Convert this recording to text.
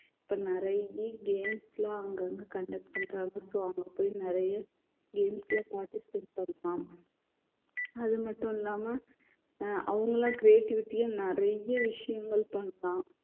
இப்ப நிறைய games எல்லாம் அவுங்க வந்து conduct பண்றாங்க so அங்க போய் நிறைய games ல participate பண்ணலாம் அது மட்டும் இல்லாம அவங்க எல்லாம் creativity யா நிறைய விஷயங்கள் பண்ணலாம்